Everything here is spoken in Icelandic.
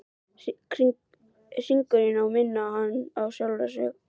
Hringurinn á að minna hana á hann sjálfan.